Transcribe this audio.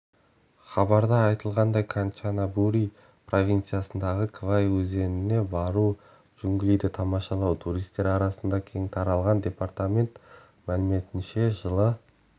хабарда айтылғандай канчанабури провинциясындағы квай өзеніне бару джунглиді тамашалау туристер арасында кең таралған департамент мәліметтерінше жылы